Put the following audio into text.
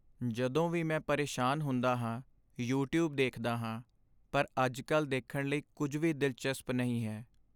ਜਦੋਂ ਵੀ ਮੈਂ ਪਰੇਸ਼ਾਨ ਹੁੰਦਾ ਹਾਂ, ਯੂਟਿਊਬ ਦੇਖਦਾ ਹਾਂ ਪਰ ਅੱਜਕੱਲ੍ਹ ਦੇਖਣ ਲਈ ਕੁੱਝ ਵੀ ਦਿਲਚਸਪ ਨਹੀਂ ਹੈ